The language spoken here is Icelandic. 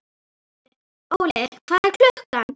Óli, hvað er klukkan?